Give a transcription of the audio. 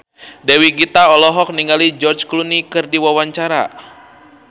Dewi Gita olohok ningali George Clooney keur diwawancara